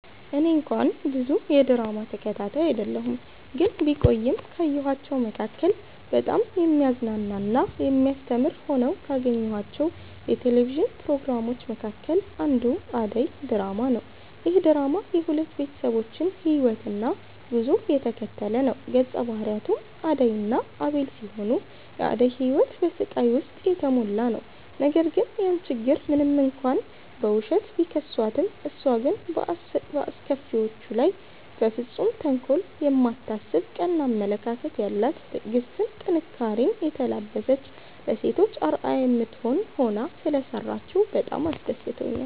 እኔ እንኳን ብዙ የድራማ ተከታታይ አይደለሁ ግን ቢቆይም ካየኋቸዉ መካከል በጣም የሚያዝናና እና የሚያስተምር ሆነው ካገኘኋቸው የቴሌቪዥን ፕሮግራሞች መካከል አንዱ አደይ ድራማ ነዉ። ይህ ድራማ የሁለት ቤተሰቦችን ህይወትና ጉዞ የተከተለ ነዉ ገፀ ባህሪያቱም አደይ እና አቤል ሲሆኑ የአደይ ህይወት በስቃይ ዉስጥ የተሞላ ነዉ ነገር ግን ያን ችግር ሞንም እንኳን በዉሸት፣ ቢከሷትም እሷ ግን በአስከፊዎቿ ላይ በፍፁም ተንኮል የማታስብ ቀና አመለካከት ያላት ትዕግስትን፣ ጥንካሬኔ የተላበሰች ለሴቶች አርአያ የምትሆን ሆና ሰለሰራችዉ በጣም አስደስቶኛል።